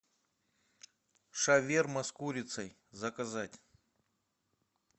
шаверма с курицей заказать